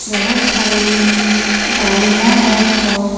बहुत सारी गाड़ियां और कार --